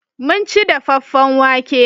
Mun ci dafaffen wake.